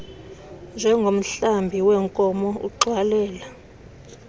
njengomhlambi weenkomo ugxwalela